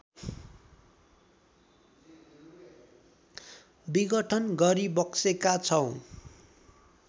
विघटन गरिबक्सेका छौँ